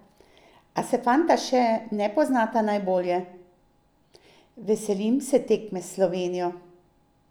A se fanta še ne poznata najbolje: "Veselim se tekme s Slovenijo.